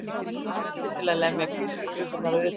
Barefli til að lemja kirkjuklukkurnar utan.